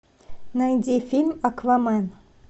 найди фильм аквамен